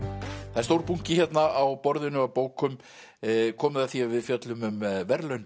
það er stór bunki hérna á borðinu af bókum komið að því að við fjöllum um verðlaun